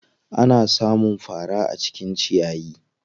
Ana sa mun fara a cikin ciyayi.